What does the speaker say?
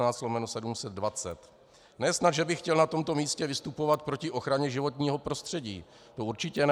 Ne snad že bych chtěl na tomto místě vystupovat proti ochraně životního prostředí, to určitě ne.